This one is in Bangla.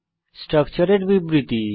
স্ট্রাকচারের বিবৃতি